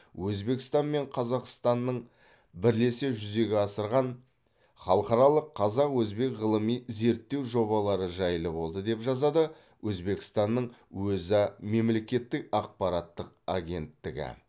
өзбекстан мен қазақстанның бірлесе жүзеге асырған халықаралық қазақ өзбек ғылыми зерттеу жобалары жайлы болды деп жазады өзбекстанның өза мемлекеттік ақпараттық агенттігі